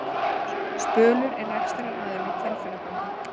Spölur er rekstraraðili Hvalfjarðarganga